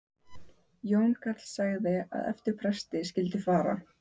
Jón karl sagði að eftir presti skyldi fara.